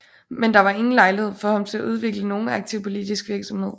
Men der var ingen lejlighed for ham til at udvikle nogen aktiv politisk virksomhed